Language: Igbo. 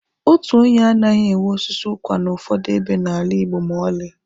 Otu onye anaghị enwe osisi ụkwa n'ụfọdụ ebe n'ala Igbo ma ọlị.